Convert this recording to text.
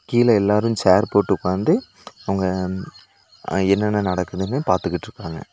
கீழ எல்லாரு சேர் போட்டு உக்காந்து அவுங்க அ என்னென்ன நடக்குதுன்னு பாத்துகிட்ருக்காங்க.